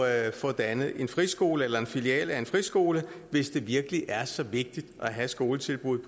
at få dannet en friskole eller en filial af en friskole hvis det virkelig er så vigtigt at have skoletilbud